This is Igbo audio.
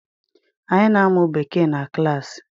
Anyị na-amụ Bekee na klaasi.